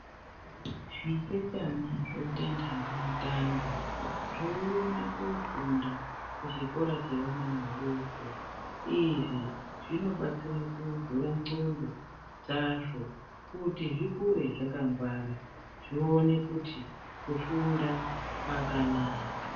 Zvitetana zvoita nhange mutange zveienda kofunda kuzvikora zvevana vadoko. Izvi zvinobatsira kuvhura nxondo dzazvo kuti zvikure zvakangwara .Zvione kuti kufunda kwakanaka.